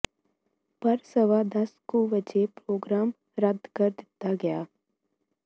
ਪਰ ਸਵਾ ਦਸ ਕੁ ਵਜੇ ਪ੍ਰੋਗਰਾਮ ਰੱਦ ਕਰ ਦਿੱਤਾ ਗਿਆ